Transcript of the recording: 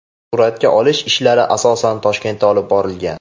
Suratga olish ishlari asosan Toshkentda olib borilgan.